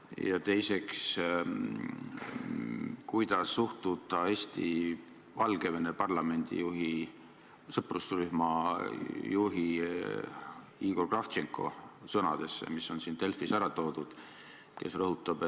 Ja teiseks, kuidas suhtuda Eesti-Valgevene parlamendi sõprusrühma juhi Igor Kravtšenko sõnadesse, mis on Delfis ära toodud?